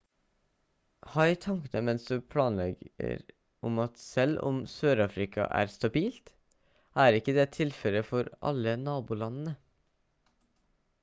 ha i tankene mens du legger planer om at selv om sør-afrika er stabilt er ikke det tilfellet for alle nabolandene